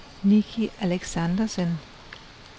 Nicky Alexandersen